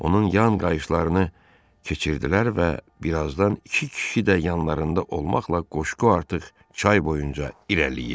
Onun yan qayışlarını keçirdilər və bir azdan iki kişi də yanlarında olmaqla qoşqu artıq çay boyunca irəliləyirdi.